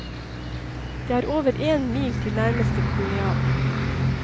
Det er over én mil til nærmeste kolonial.